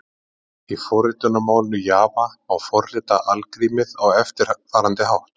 Í forritunarmálinu Java má forrita algrímið á eftirfarandi hátt: